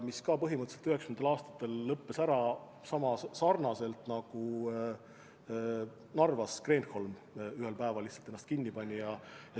See samuti 1990. aastatel põhimõtteliselt lõpetas tegevuse ära, pani nagu Narvas Kreenholm ühel päeval lihtsalt ennast kinni.